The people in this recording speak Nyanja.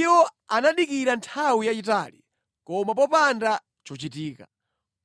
Iwo anadikira nthawi yayitali koma popanda chochitika.